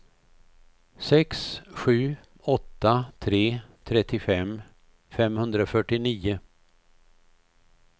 sex sju åtta tre trettiofem femhundrafyrtionio